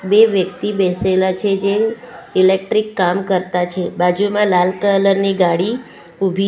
બે વ્યક્તિ બેસેલા છે જે ઇલેક્ટ્રીક કામ કરતા છે બાજુમાં લાલ કલર ની ગાડી ઊભી--